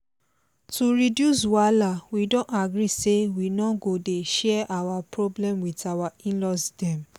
to reduce wahala we don agree say we no go dey share our problem with our in-laws dem